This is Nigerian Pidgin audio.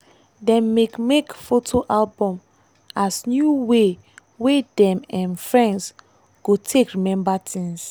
dem make make photo album as new way wey dem um friends go take remember things.